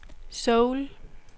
Seoul